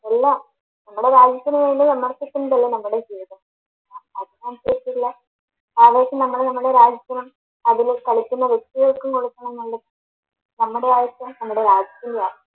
എല്ലാ നമ്മടെ രാജ്യത്തിന് വേണ്ടി നമ്മടെ ജീവിതം ആവേശം നമ്മള് നമ്മള രാജ്യത്തിനും അതില് കളിക്കുന്ന വ്യക്തികൾക്കും കൊടുക്കണന്നുള്ള, നമ്മടെ ആവിശ്യം നമ്മടെ രാജ്യത്തിൻറെയാ